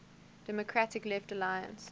democratic left alliance